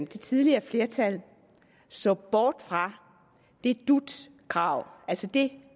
tidligere flertal så bort fra dut kravet altså det